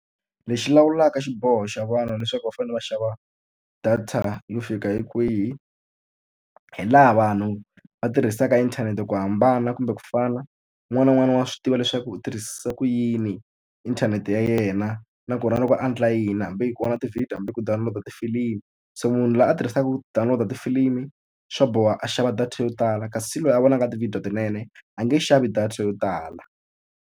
Lexi lawulaka xiboho xa vanhu leswaku va fanele va xava data yo fika hi kwihi, hi laha vanhu va tirhisaka inthanete ku hambana kumbe ku fana. Un'wana na un'wana wa swi tiva leswaku u tirhisisa ku yini inthanete ya yena, na ku ri na loko a endla yini hambi i ku vona ti-video, hambi ku download-a tifilimi. So munhu loyi a tirhisaka ku download-a tifilimu swa boha a xava data yo tala, kasi loyi a vonaka tivhidiyo tinene a nge xavi data yo tala.